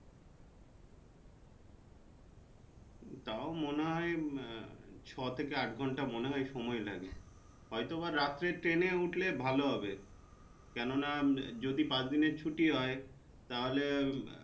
তাও মনে হয় আহ ছ, থাকে আট ঘন্টা মনে হয় সময় লাগে। হয়তো বা রাতের train উঠলে ভালো হবে কোনো না যদি পাঁচ দিনের ছুটি হয় তাহলে।